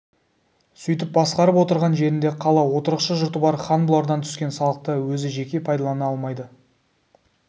сөйтіп басқарып отырған жерінде қала отырықшы жұрты бар хан бұлардан түскен салықты өзі жеке пайдалана алмайды